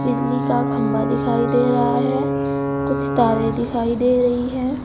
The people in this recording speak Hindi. बिजली का खंबा दिखाई दे रहा है कुछ तारे दिखाई दे रही है।